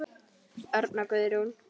Örn og Guðrún.